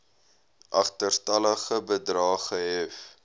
agterstallige bedrae gehef